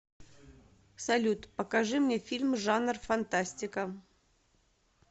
салют покажи мне фильм жанр фантастика